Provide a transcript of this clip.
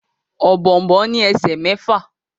Ọ̀bọ̀ọ̀nbọọ̀n ní esè mẹfa.